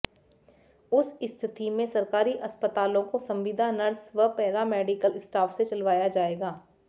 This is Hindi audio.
उस स्थिति में सरकारी अस्पतालों को संविदा नर्स व पैरामेडिकल स्टाफ से चलवाया जाएगा